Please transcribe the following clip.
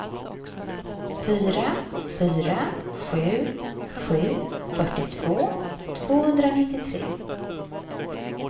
fyra fyra sju sju fyrtiotvå tvåhundranittiotre